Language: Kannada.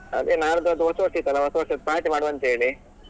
ಅದೇ ನಾಳ್ದು ಅದು ಹೊಸ ವರ್ಷ ಇತ್ತಲ್ಲಾ ಹೊಸ ವರ್ಷದ್ದು party ಮಾಡುವಂತ ಹೇಳಿ.